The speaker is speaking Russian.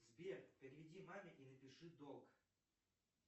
сбер переведи маме и напиши долг